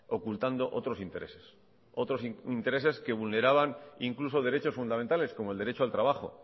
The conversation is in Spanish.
ocultando otros intereses otros intereses que vulneraban incluso derechos fundamentales como el derecho al trabajo